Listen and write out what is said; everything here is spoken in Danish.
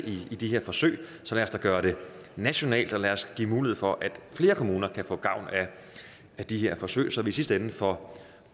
i de her forsøg så lad os gøre det nationalt og lad os give mulighed for at flere kommuner kan få gavn af de her forsøg så vi i sidste ende får